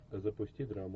запусти драму